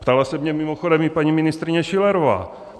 Ptala se mě mimochodem i paní ministryně Schillerová.